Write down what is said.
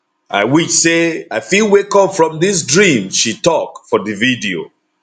i wish say i fit wake up from dis dream she tok for di video